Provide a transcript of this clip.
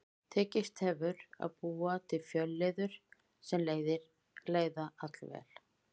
Tekist hefur að búa til fjölliður sem leiða allvel.